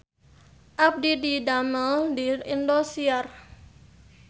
Abdi didamel di Indosiar